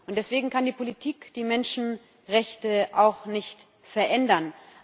Und deswegen kann die Politik die Menschenrechte auch nicht verändern.